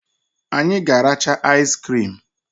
Anyị ga aracha aiz crim.